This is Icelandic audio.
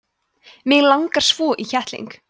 mig langar svo í kettling